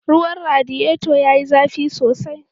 Ruwan radiyeto ya yi zafi sosai.